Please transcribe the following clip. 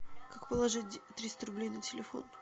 как положить триста рублей на телефон